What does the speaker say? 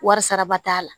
Wari saraba t'a la